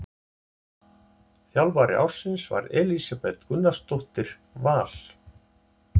Þjálfari ársins var Elísabet Gunnarsdóttir Val.